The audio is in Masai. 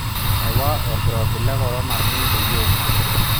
Ewa olkirobi le korona ilbungei oong'wan.